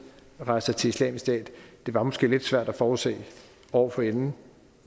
rejser til islamisk stat det var måske lidt svært at forudse år forinden